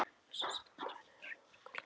Össur sat vandræðalegur og rjóður á kollinum.